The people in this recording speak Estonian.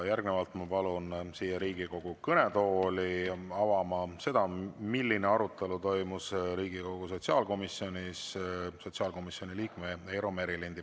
Ma palun Riigikogu kõnetooli avama seda, milline arutelu toimus Riigikogu sotsiaalkomisjonis, sotsiaalkomisjoni liikme Eero Merilinnu.